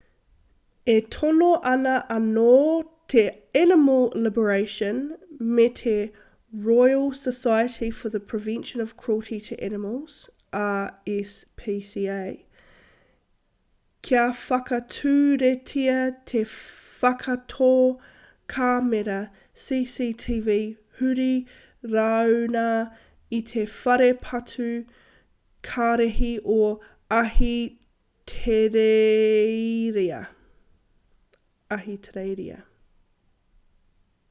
e tono ana anō te animal liberation me te royal society for the prevention of cruelty to animals rspca kia whakaturetia te whakatō kāmera cctv huri rāuna i te whare patu kararehe o ahitereiria